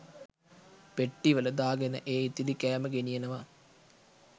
පෙට්ටිවල දාගෙන ඒ ඉතිරි කෑම ගෙනියනවා.